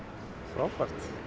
frábært